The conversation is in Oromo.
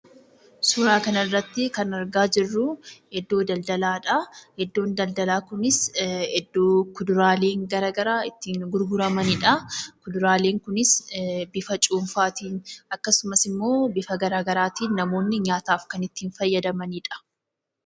Suuraa kanarratti kan argaa jirru iddoo daldalaadhaa. Iddoon daldalaa kunis iddoo kuduraaleen garaagaraa itti gurguramanidhaa. Kuduraaleen kunis bifa cuunfaatiin akkasumas immoo bifa garaa garaatiin namoonni nyaataaf kan itti fayyadamanidha.